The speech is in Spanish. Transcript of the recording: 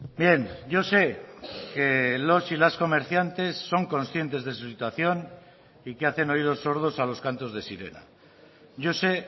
bien yo sé que los y las comerciantes son conscientes de su situación y que hacen oídos sordos a los cantos de sirena yo sé